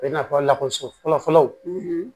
I n'a fɔ lakɔso fɔlɔfɔlɔ